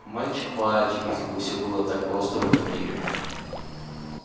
мальчик мальчик если бы всё было так просто в этом мире